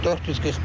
441.